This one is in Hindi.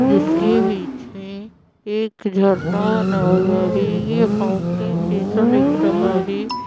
जिसके पीछे एक झरना और नाव है ये फाउंटेन जैसा दिख रहा है।